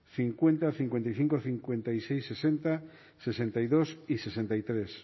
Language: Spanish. cincuenta cincuenta y cinco cincuenta y seis sesenta sesenta y dos y sesenta y tres